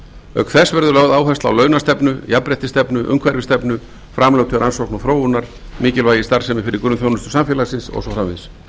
auk þess verður lögð áhersla á launastefnu jafnréttisstefnu umhverfisstefnu framlög til rannsókna og þróunar mikilvægi starfsemi fyrir grunnþjónustu samfélagsins og svo framvegis